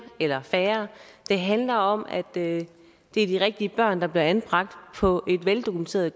eller færre det handler om at det er de rigtige børn der bliver anbragt på et veldokumenteret